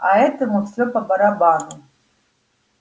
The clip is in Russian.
а этому все по-барабану